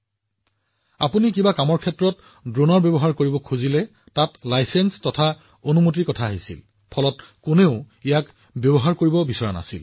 যদি আপুনি যিকোনো বস্তুৰ বাবে ড্ৰোন উৰাব লগা হয় অনুজ্ঞাপত্ৰ আৰু অনুমতিৰ ক্ষেত্ৰত ইমানেই অসুবিধাত পৰিছিল যে মানুহে ড্ৰোনৰ নামত অনুতাপ কৰিবলগীয়া হৈছিল